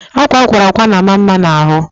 akwa akwara akwa na ama mma na ahụ